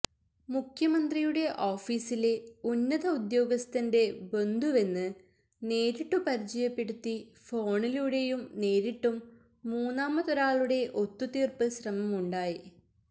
മുഖ്യമന്ത്രിയുടെ ഓഫീസിലെ ഉന്നത ഉദ്യോഗസ്ഥന്റെ ബന്ധുവെന്ന് നേരിട്ടു പരിചയപ്പെടുത്തി ഫോണിലൂടെയും നേരിട്ടും മൂന്നാമതൊരാളുടെ ഒത്തുതീർപ്പ് ശ്രമമുണ്ടായി